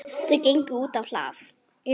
Þau gengu útá hlað.